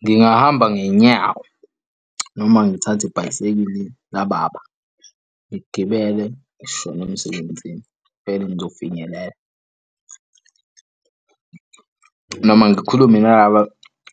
Ngingahamba ngey'nyawo noma ngithathe ibhayisekili lababa. Ngigibele ngishone emsebenzini, vele ngizofinyelela. Noma ngikhulume nalaba